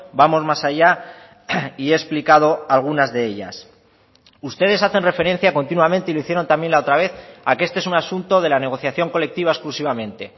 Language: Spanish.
vamos más allá y he explicado algunas de ellas ustedes hacen referencia continuamente y lo hicieron también la otra vez a que este es un asunto de la negociación colectiva exclusivamente